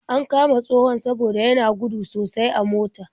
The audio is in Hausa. An kama tsohon saboda yana gudu sosai a mota.